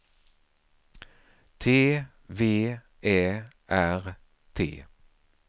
T V Ä R T